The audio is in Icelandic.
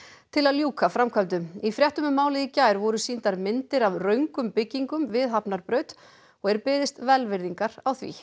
til að ljúka framkvæmdum í fréttum um málið í gær voru sýndar myndir af röngum byggingum við Hafnarbraut og er beðist velvirðingar á því